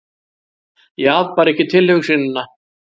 Ég afbar ekki tilhugsunina.